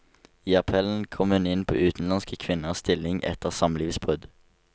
I appellen kom hun inn på utenlandske kvinners stilling etter samlivsbrudd.